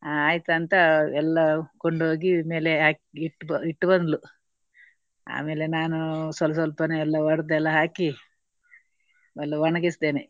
ಆ ಆಯ್ತಂತ ಎಲ್ಲಾ ಕೊಂಡೋಗಿ ಮೇಲೆ ಹಾಕಿ ಇಟ್ಟು ಇಟ್ಟು ಬಂದ್ಲು. ಆಮೇಲೆ ನಾನು ಸ್ವಲ್ಪ ಸ್ವಲ್ಪನೇ ಒಡ್ದ್ ಎಲ್ಲಾ ಹಾಕಿ ಎಲ್ಲಾ ಒಣಗಿಸಿದ್ದೇನೆ.